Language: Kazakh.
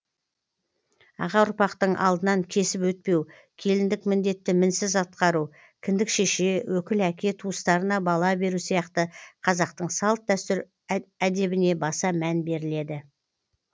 аға ұрпақтың алдынан кесіп өтпеу келіндік міндетті мінсіз атқару кіндік шеше өкіл әке туыстарына бала беру сияқты қазақтың салт дәстүр әдебіне баса мән беріледі